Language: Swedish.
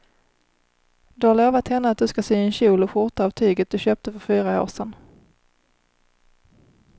Du har lovat henne att du ska sy en kjol och skjorta av tyget du köpte för fyra år sedan.